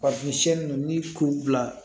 ni k'u bila